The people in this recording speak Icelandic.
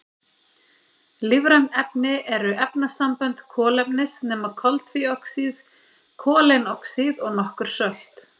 Lífræn efni eru efnasambönd kolefnis nema koltvíoxíð, koleinoxíð og nokkur sölt.